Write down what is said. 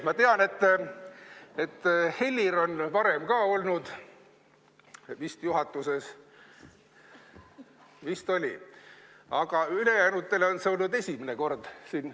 Ma tean, et Helir on olnud varem ka juhatuses – vist oli –, aga ülejäänutele on see siin esimene kord.